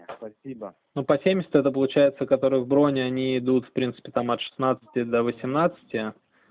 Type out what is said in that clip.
спасибо ну по семьдесят это получается который в броне они идут в принципе там от шестнадцати до восемнадцати